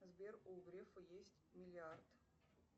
сбер у грефа есть миллиард